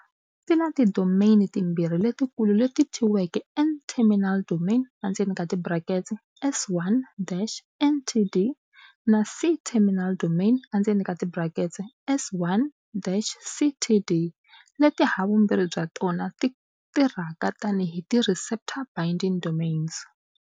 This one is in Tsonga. Ti na ti domain timbirhi letikulu leti thyiweke N-terminal domain, S1-NTD, na C-terminal domain, S1-CTD, leti havumbirhi bya tona ti tirhaka tani hi ti receptor-binding domains.